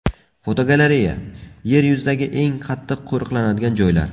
Fotogalereya: Yer yuzidagi eng qattiq qo‘riqlanadigan joylar.